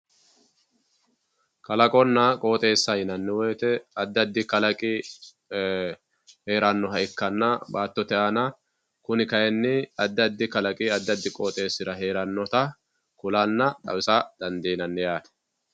kalaqonq qooxeesa yinanni woyiite addiaddi kalaqi heerannoha ikkanna baattote aana kuni kayiini addi addi kalaqi addiaddi qooxeesira heerannota kulanna xawisa dandiinanni.